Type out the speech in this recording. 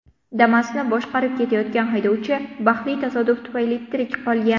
Damas’ni boshqarib ketayotgan haydovchi baxtli tasodif tufayli tirik qolgan.